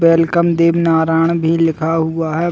Welcome Devnarayan भी लिखा हुआ है।